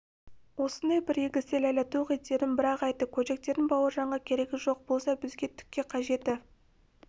осындай бір егесте ләйлә тоқ етерін бір-ақ айтты көжектердің бауыржанға керегі жоқ болса бізге түкке қажеті